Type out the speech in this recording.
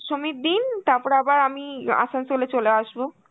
দশমীর দিন তারপরে আবার আমি আসানসোলে চলে আসব.